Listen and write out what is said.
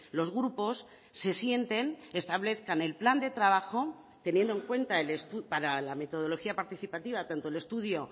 los grupos se sienten establezcan el plan de trabajo teniendo en cuenta para la metodología participativa tanto el estudio